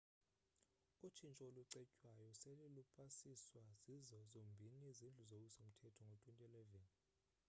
utshintsho olucetywayo sele lwapasiswa zizo zombini izindlu zowiso mthetho ngo-2011